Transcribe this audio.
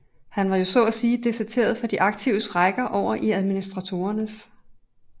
Han var jo så at sige deserteret fra de aktives rækker over i administratorernes